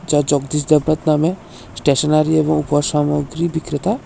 জগদীশ নামে স্টেশনারি এবং উপসামগ্রী বিক্রেতা।